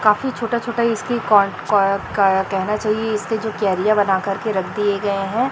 काफी छोटा-छोटा इसकी कह कह कह कहना चाहिए इसके जो क्यारियां बनाकर के रख दिए गए है।